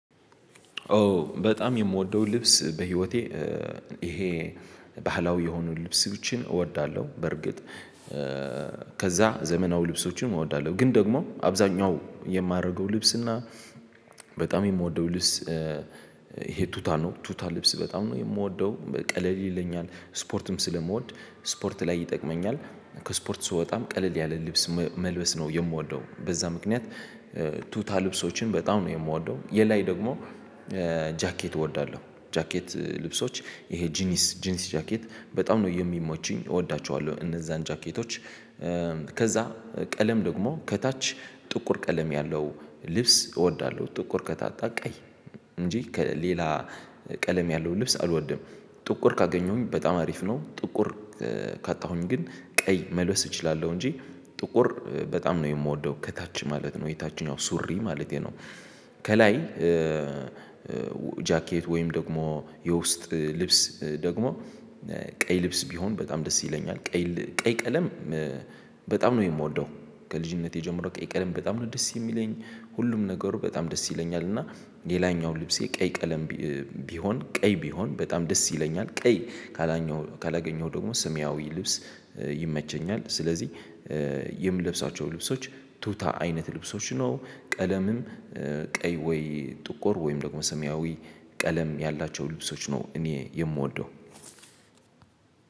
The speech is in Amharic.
ኦ በጣም የምወደው ልብስ በህይወቴ ይሄ ባህላዊ የሆኑ ልብሶ ችን እወዳለሁ። በርግጥ ከዛ ዘመናዊ ልብሶችን እወዳለሁ። ግን ደግሞ አብዛኛው የማደርገው ልብስ እና በጣም የምወደው ልብስ ይሄ ቱታ ነው ቱታ ልብስ በጣም ነው የምወደው ቀለል ይለኛል ስፖርትም ስለምወድ ስፖርት ላይ ይጠቅመኛል። ከስፖርት ስወጣም ቀለል ያለ ልብስ መልበስ ነው የምወደው በዛ ምክንያት። ቱታ ልብሶችን በጣም ነው የምወደው። የላይ ደግሞ ጃኬት እወዳለሁ ጃኬት ልብሶች ይሄ ጂኒስ ጂንስ ጃኬት በጣም ነው የሚመቹኝ እወዳቸዋለሁ እነዛን ጃኬቶች። ከዛ ቀለም ደግሞ ከታች ጥቁር ቀለም ያለው ልብስ እወዳለሁ ጥቁር ከታጣ ቀይ እንጂ ከሌላ ቀለም ያለው ልብስ አልወድም። ጥቁር ካገኘሁኝ በጣም አሪፍ ነው ጥቁር ካጣሁኝ ግን ቀይ መልበስ እችላለሁ እንጂ ጥቁር በጣም ነው የምወደው። ከታች ማለት ነው የታች ኛው ሱሪ ማለቴ ነው። ከላይ ጃኬት ወይም ደግሞ የውስጥ ልብስ ደግሞ ቀይ ልብስ ቢሆን በጣም ደስ ይለኛል። ቀይ ከዛ ቀለም ደግሞ ከታች ጥቁር ቀለም ያለው ልብስ እወዳለሁ ጥቁር ከታጣ ቀይ እንጂ ከሌላ ቀለም ያለው ልብስ አልወድም። ጥቁር ካገኘሁኝ በጣም አሪፍ ነው ጥቁር ካላገኘሁ ደግሞ ስሚያዊ ልብስ ይመቸኛል። ስለዚህ የምለብሳቸው ልብሶች ቱታ አይነት ልብሶች ነው። ቀለምም ቀይ ወይ ጥቁር ወይም ደግሞ ሰሚያዊ ቀለም ያላቸው ልብሶች ነው እኔ የምወደው።